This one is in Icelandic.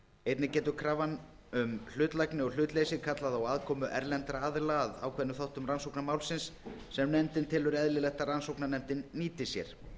einnig getur krafan um hlutlægni og hlutleysi kallað á aðkomu erlendra aðila að ákveðnum þáttum rannsóknar málsins sem nefndin telur eðlilegt að rannsóknarnefndin nýti sér það